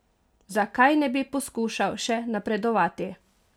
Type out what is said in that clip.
Zakaj ne bi poskušal še napredovati?